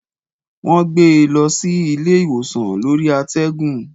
Wọ́n gbé e lọ sí ilé ìwòsàn lórí àtẹ́gùn.